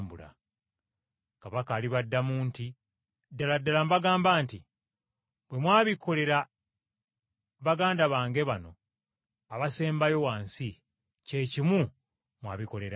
“Kabaka, alibaddamu nti, ‘Ddala ddala mbagamba nti bwe mwabikolera baganda bange bano abasembayo wansi kye kimu mwabikolera nze!’